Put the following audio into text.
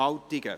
Geschäft